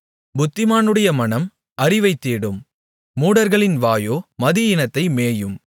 புத்திமானுடைய மனம் அறிவைத்தேடும் மூடர்களின் வாயோ மதியீனத்தை மேயும்